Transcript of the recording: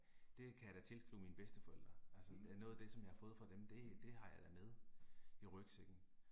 Det kan jeg da tilskrive mine bedsteforældre. Altså noget af det som jeg har fået fra dem det det har jeg da med i rygsækken